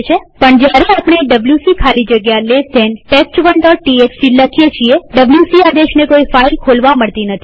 પણ જયારે આપણે ડબ્લ્યુસી ખાલી જગ્યા ડાબા ખૂણાવાળો કૌંસ test1ટીએક્સટી લખીએ છીએwc આદેશને કોઈ ફાઈલ ખોલવા મળતી નથી